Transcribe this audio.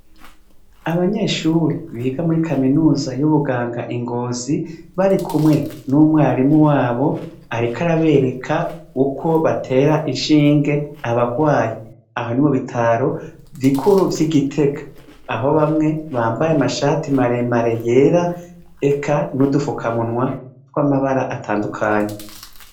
Abanyeshure biga mur kaminuza y'ubuganga i ngozi, barikumwe n'umwarimu wabo, ariko arabereka uko batera inshinge abarwaye. Aha ni mubitaro bukuru vyi Gitega. Aho bamwe bambaye amashati maremare yera eka n'udufukamunwa tw'amabara atandukanye.